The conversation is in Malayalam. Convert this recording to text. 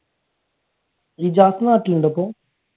ഇജാസ് നാട്ടിലുണ്ടോ ഇപ്പൊ?